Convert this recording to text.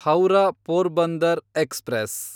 Howrah Porbandar express